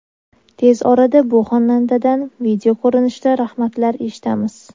Tez orada bu xonandadan video ko‘rinishida rahmatlar eshitamiz.